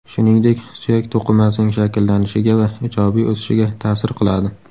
Shuningdek, suyak to‘qimasining shakllanishiga va ijobiy o‘sishiga ta’sir qiladi.